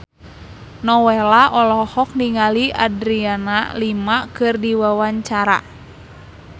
Nowela olohok ningali Adriana Lima keur diwawancara